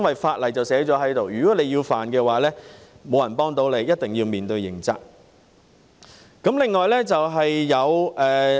法例已經制定，如果有人犯法，沒人可以幫他，一定要面對刑責。